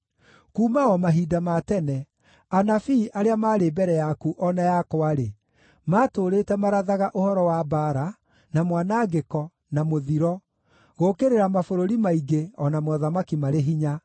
Kuuma o mahinda ma tene, anabii arĩa maarĩ mbere yaku o na yakwa-rĩ, maatũũrĩte marathaga ũhoro wa mbaara, na mwanangĩko, na mũthiro, gũũkĩrĩra mabũrũri maingĩ o na mothamaki marĩ hinya.